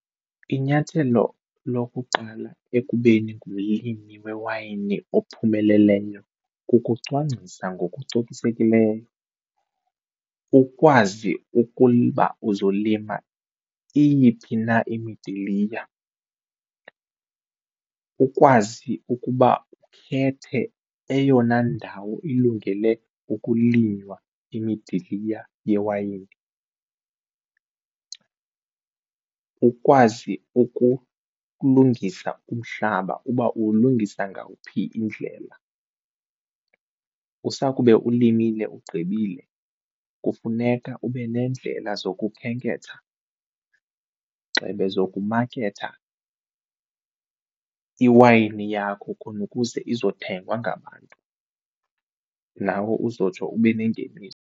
Inyathelo lokuqala ekubeni ngumlimi wewayini ophumeleleyo kukucwangcisa ngokucokisekileyo, ukwazi ukuba uzolima iyiphi na imidiliya. Ukwazi ukuba ukhethe eyona ndawo ilungele ukulinywa imidiliya yewayini. Ukwazi ukulungisa umhlaba uba uwulungisa ngawuphi indlela, usakube ulimile ugqibile kufuneka ube neendlela zokukhenketha gxebe zokumaketha iwayini yakho khona ukuze izothengwa ngabantu nawe uzotsho ube nengeniso.